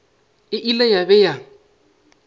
e ile ya be ya